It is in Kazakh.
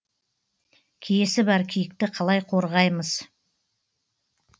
киесі бар киікті қалай қорғаймыз